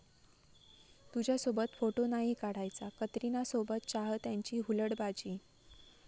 तुझ्यासोबत फोटो नाही काढायचा',कतरीनासोबत चाहत्यांची हुलडबाजी